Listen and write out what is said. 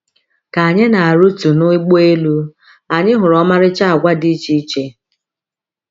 Ka anyị na - arịtu n’ụgbọelu, anyị hụrụ ọmarịcha àgwà dị iche iche.